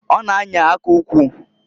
Ọ na -anya aka ukwu.